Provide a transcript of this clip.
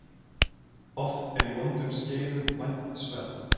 Oft er í vondum skeiðum vænt sverð.